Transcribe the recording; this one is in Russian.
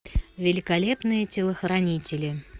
великолепные телохранители